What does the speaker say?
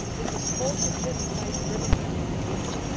This is also driven by demographic ageing.